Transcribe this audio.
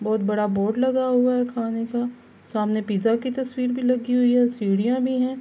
بھوت بڑا بورڈ لگا ہوا ہے۔ خانے کا سامنے پیزا کی تشویر بھی لگی ہوئی ہے۔ سیدھیا بھی ہے.